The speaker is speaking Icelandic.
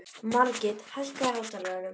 Margit, hækkaðu í hátalaranum.